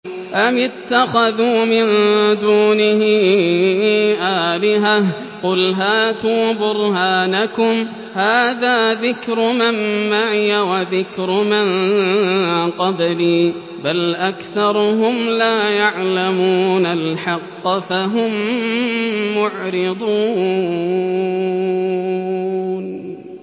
أَمِ اتَّخَذُوا مِن دُونِهِ آلِهَةً ۖ قُلْ هَاتُوا بُرْهَانَكُمْ ۖ هَٰذَا ذِكْرُ مَن مَّعِيَ وَذِكْرُ مَن قَبْلِي ۗ بَلْ أَكْثَرُهُمْ لَا يَعْلَمُونَ الْحَقَّ ۖ فَهُم مُّعْرِضُونَ